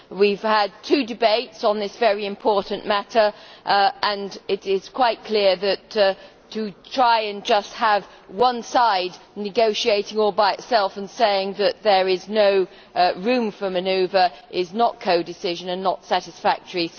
We have had two debates on this very important matter, and it is quite clear that to try to have just one side negotiating all by itself and saying that there is no room for manoeuvre is not co decision and is not satisfactory.